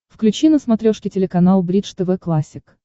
включи на смотрешке телеканал бридж тв классик